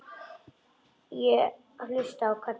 Ég hlusta á Kalla.